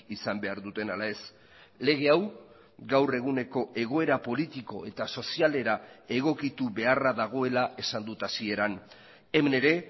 izan behar duten ala ez lege hau gaur eguneko egoera politiko eta sozialera egokitu beharra dagoela esan dut hasieran hemen ere